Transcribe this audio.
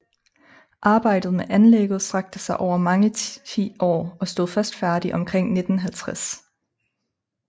Arbejdet med anlægget strakte sig over mange tiår og stod først færdig omkring 1950